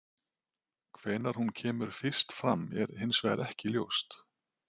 Hvenær hún kemur fyrst fram er hins vegar ekki ljóst.